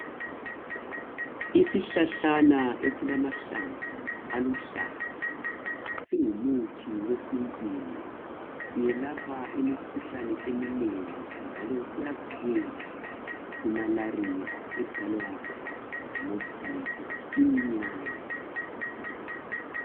isihlahlana esilamahlamvu aluhlaza singumuthi esintwini siyelapha imikhuhlane eminengi njalo siyavikela siyavikela ku malaria edalwa yiminyane